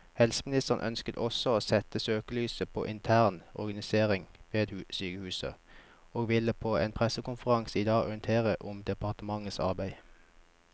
Helseministeren ønsker også å sette søkelyset på intern organisering ved sykehusene, og vil på en pressekonferanse i dag orientere om departementets arbeid.